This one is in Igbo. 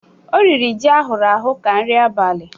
O riri ji ahụrụ ahụ ka nri abalị.